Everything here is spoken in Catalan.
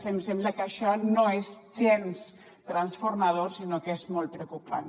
em sembla que això no és gens transformador sinó que és molt preocupant